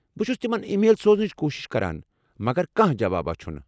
بہٕ چُھس تِمن ای میل سوزنٕچ کوٗشِش کران مگر کانٛہہ جواباہ چھُنہٕ ۔